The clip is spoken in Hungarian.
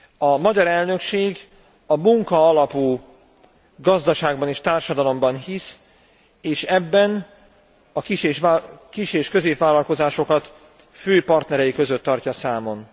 A magyar elnökség a munka alapú gazdaságban és társadalomba hisz és ebben a kis és középvállalkozásokat fő partnerei között tartja számon.